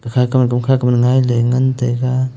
ikha kong e doom kha koman ngailey ngan taiga.